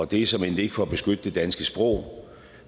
det er såmænd ikke for at beskytte det danske sprog